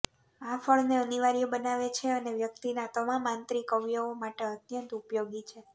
આ ફળને અનિવાર્ય બનાવે છે અને વ્યક્તિના તમામ આંતરિક અવયવો માટે અત્યંત ઉપયોગી છે